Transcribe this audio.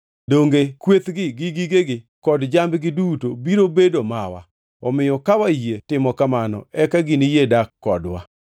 Donge kwethgi, gi gigegi kod jambgi duto biro bedo mawa? Omiyo ka wayie timo kamano eka giniyie dak kodwa.”